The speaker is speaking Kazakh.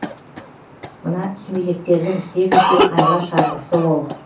мына сүмелектердің істеп жүрген айла шарғысы ол